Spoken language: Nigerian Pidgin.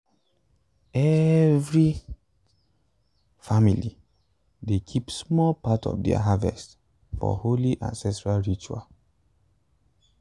every family dey keep small part of their harvest for holy ancestral ritual.